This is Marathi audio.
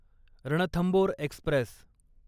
रणथंबोर एक्स्प्रेस